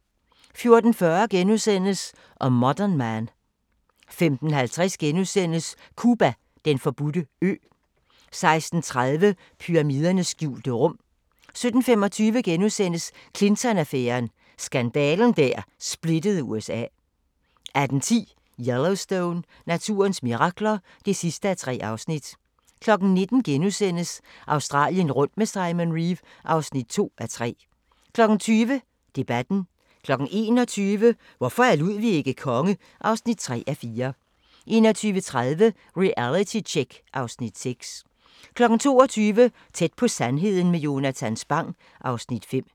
14:40: A Modern Man * 15:50: Cuba: Den forbudte ø * 16:30: Pyramidernes skjulte rum 17:25: Clinton-affæren: Skandalen der splittede USA (Afs. 3)* 18:10: Yellowstone – naturens mirakler (3:3) 19:00: Australien rundt med Simon Reeve (2:3)* 20:00: Debatten 21:00: Hvorfor er Ludwig ikke konge? (3:4) 21:30: Realitytjek (Afs. 6) 22:00: Tæt på sandheden med Jonatan Spang (Afs. 5)